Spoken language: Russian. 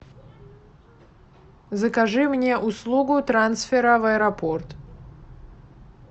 закажи мне услугу трансфера в аэропорт